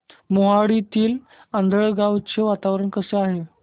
मोहाडीतील आंधळगाव चे वातावरण कसे आहे